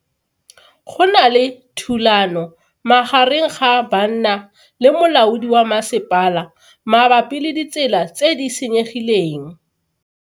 Go na le thulano magareng ga banna le molaodi wa masepala mabapi le ditsela tse di senyegileng.